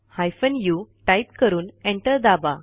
hyphen उ type करून enter दाबा